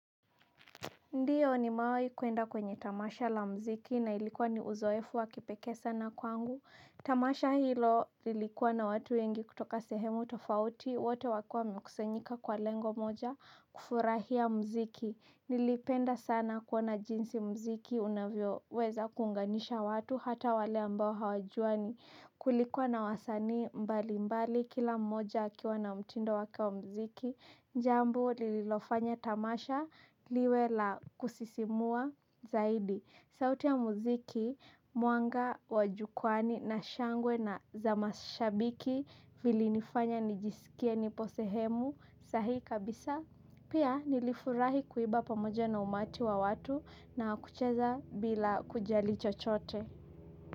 Ndio nimewai kwenda kwenye tamasha la muziki na ilikua ni uzoefu wa kipekee sana kwangu tamasha hilo lilikuwa na watu wengi kutoka sehemu tofauti. Wote wakua wamekusanyika kwa lengo moja kufurahia mziki. Nilipenda sana kuona jinsi mziki unavyo weza kuunganisha watu hata wale ambao hawajuwani. Kulikuwa na wasanii mbali mbali kila mmoja akiwa na mtindo wake wa mziki. Jambo lililofanya tamasha liwe la kusisimua zaidi. Sauti ya muziki, mwanga, wa jukwani na shangwe na za mashabiki vilinifanya nijisikie nipo sehemu sahihi kabisaa. Pia nilifurahi kuimba pamoja na umati wa watu na kucheza bila kujali chochote.